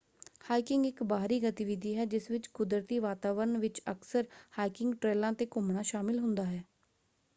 Hiking ਇੱਕ ਬਾਹਰੀ ਗਤੀਵਿਧੀ ਹੈ ਜਿਸ ਵਿੱਚ ਕੁਦਰਤੀ ਵਾਤਾਵਰਣ ਵਿੱਚ ਅਕਸਰ ਹਾਈਕਿੰਗ ਟ੍ਰੇਲਾਂ ‘ਤੇ ਘੁੰਮਣਾ ਸ਼ਾਮਲ ਹੁੰਦਾ ਹੈ।